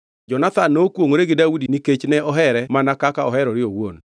Jonathan nokwongʼore gi Daudi nikech ne ohere mana kaka oherore owuon.